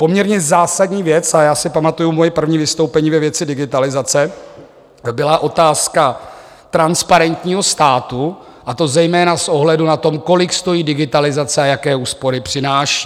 Poměrně zásadní věc, a já si pamatuji svoje první vystoupení ve věci digitalizace, byla otázka transparentního státu, a to zejména s ohledem na to, kolik stojí digitalizace a jaké úspory přináší.